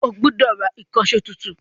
O gbọ́dọ̀ Ra ìkànṣó tuntun